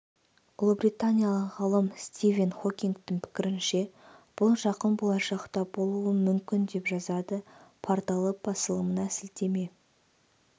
ұлыбританиялық ғалым стивен хокингтің пікірінше бұл жақын болашақта болуы мүмкін деп жазады порталы басылымына сілтеме